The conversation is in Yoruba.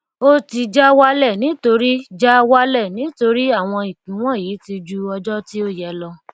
ó ti já wálẹ nítorí já wálẹ nítorí àwọn ìpín wọnyí ti ju ọjọ tí ó yẹ lọ